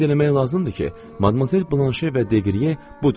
Qeyd eləmək lazımdır ki, Madmazel Blanşe və Deqriyə budur.